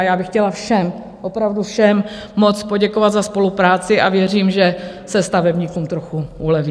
A já bych chtěla všem, opravdu všem moc poděkovat za spolupráci a věřím, že se stavebníkům trochu uleví.